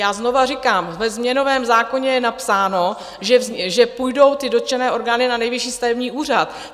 Já znovu říkám, ve změnovém zákoně je napsáno, že půjdou ty dotčené orgány na Nejvyšší stavební úřad.